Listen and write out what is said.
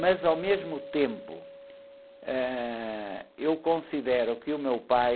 Mas, ao mesmo tempo, ãh, eu considero que o meu pai...